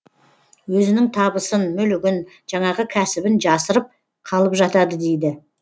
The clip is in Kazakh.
өзінің табысын мүлігін жаңағы кәсібін жасырып қалып жатады дейді